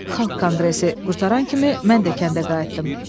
Xalq konqresi qurtaran kimi mən də kəndə qayıtdım.